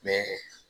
Mɛ